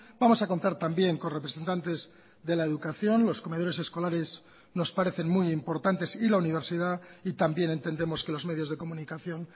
vamos a contar también con representantes de la educación los comedores escolares nos parecen muy importantes y la universidad y también entendemos que los medios de comunicación